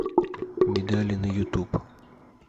медали на ютуб